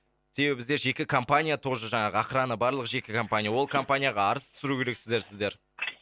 себебі бізде жеке компания тоже жаңағы охрана барлығы жеке компания ол компанияға арыз түсіру керексіздер сіздер